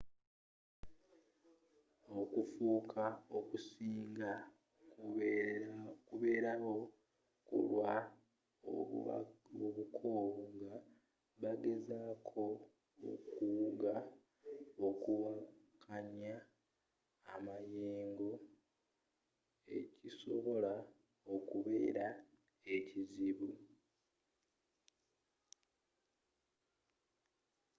okuffa okusinga kubeerawo kulwa obukoowu nga bagezako okuwuga okuwakanya amayeengo ekisobola okubeera ekizibu